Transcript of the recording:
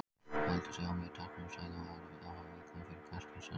Heldur sig á mjög takmörkuðu svæði og er afar viðkvæm fyrir hvers kyns raski.